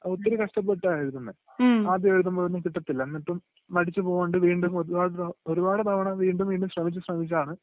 ഒത്തിരി കഷ്ടപ്പെട്ടാ എഴുതുന്നേ..ആദ്യം എഴുതുമ്പോഴൊന്നും കിട്ടാതില്ല.എന്നിട്ടും മടിച്ചുപോവാണ്ട് വീണ്ടും ഒരുപാട്..ഒരുപാട് തവണ വീണ്ടും വീണ്ടും ശ്രമിച്ചു ശ്രമിച്ചാണ്...